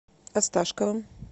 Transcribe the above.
осташковым